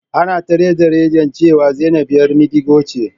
Ana ta rade-radin cewa Zainab 'yar madigo ce.